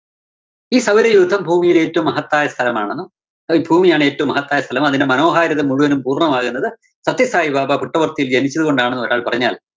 ഈ സൗരയൂഥം ഭൂമിയിലെ ഏറ്റവും മഹത്തായ സ്ഥലമാണെന്നും അതീ ഭൂമിയാണ്‌ ഏറ്റവും മഹത്തായ സ്ഥലമെന്നും അതിന്റെ മനോഹാരിത മുഴുവനും പൂര്‍ണ്ണമാകുന്നത് സത്യസായിബാബ പുട്ടപര്‍ത്തിയില്‍ ജനിച്ചതുകൊണ്ടാണെന്ന് ഒരാള്‍ പറഞ്ഞാല്‍